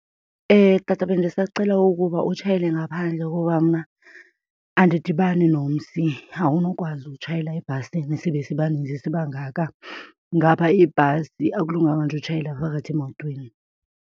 Tata, bendisacela ukuba utshayele ngaphandle kuba mna andidibani nomsi. Awunokwazi ukutshayela ebhasini sibe sibaninzi sibangaka ngapha ibhasi, akulunganga nje utshayela phakathi emotweni.